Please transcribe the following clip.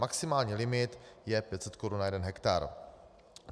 Maximální limit je 500 korun na jeden hektar.